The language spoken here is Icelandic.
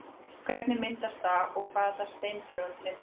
Hvernig myndast það og hvaða steintegund myndar það?